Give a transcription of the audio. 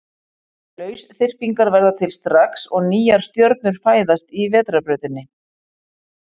Lausþyrpingar verða til strax og nýjar stjörnur fæðast í Vetrarbrautinni.